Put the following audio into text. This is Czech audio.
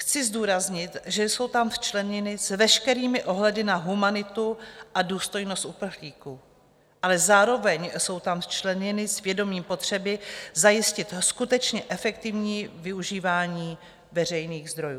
Chci zdůraznit, že jsou tam včleněny s veškerými ohledy na humanitu a důstojnost uprchlíků, ale zároveň jsou tam včleněny s vědomím potřeby zajistit skutečně efektivní využívání veřejných zdrojů.